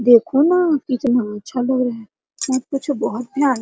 देखो ना कितना अच्छा लग रहा है मत पूछो बहुत भयानक --